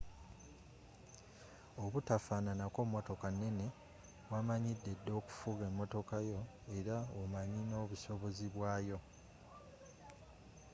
obutafaananako motoka neene wamanyideda okufuga emotoka yo era omanyi n'obusobozi bwayo